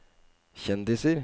kjendiser